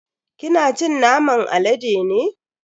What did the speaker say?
Kina cin naman alade ne?